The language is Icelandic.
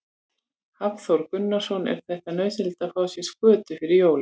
Hafþór Gunnarsson: Er þetta nauðsynlegt að fá sér skötu fyrir jólin?